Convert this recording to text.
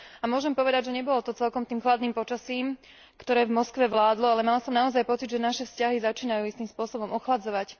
Môžem povedať, že to nebolo celkom tým chladným počasím, ktoré v Moskve vládlo, ale mala som naozaj pocit, že naše vzťahy začínajú istým spôsobom ochladzovať.